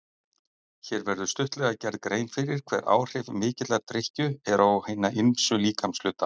Hér verður stuttlega gerð grein fyrir hver áhrif mikillar drykkju eru á hina ýmsu líkamshluta.